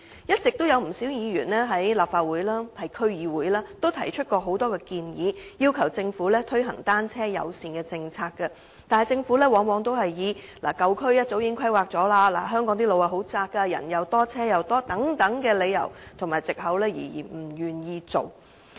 不少議員一直在立法會和區議會提出很多建議，要求政府推行單車友善政策，但政府往往以舊區早已進行規劃、香港路段狹窄、人多車多等理由和藉口而不願意推行。